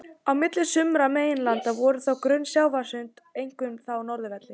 Á milli sumra meginlandanna voru þó grunn sjávarsund, einkum á norðurhveli.